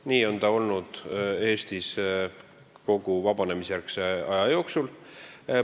Nii on see olnud Eestis kogu vabanemisjärgse aja jooksul.